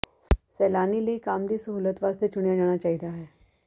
ਸੈਲਾਨੀ ਲਈ ਕੰਮ ਦੀ ਸਹੂਲਤ ਵਾਸਤੇ ਚੁਣਿਆ ਜਾਣਾ ਚਾਹੀਦਾ ਹੈ